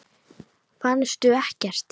Fannstu ekkert?